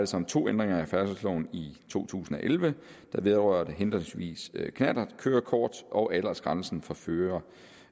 sig om to ændringer af færdselsloven i to tusind og elleve der vedrører henholdsvis knallertkørekort og aldersgrænsen for fører